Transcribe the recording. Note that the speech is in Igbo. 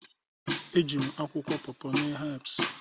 Eji m akwụkwọ paw paw mee herbs